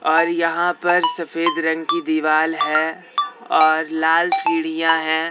और यहां पर सफेद रंग की दीवाल है और लाल सीढ़ियां है।